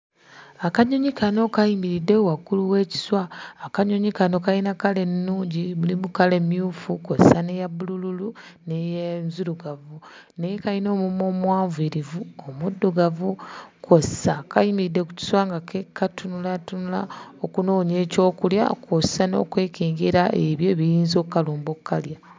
Akanyonyi kano kayimiridde waggulu w'ekiswa. Akanyonyi kano kayina kkala ennungi: mulimu kkala emmyufu kw'ossa n'eya bbululu n'enzirugavu naye kayina omumwa omuwanvuyirivu omuddugavu kw'ossa kayimiridde ku kiswa nga katunulaatunula okunoonya ekyokulya kw'ossa n'okwekengera ebyo ebiyinza okkalumba okkalya.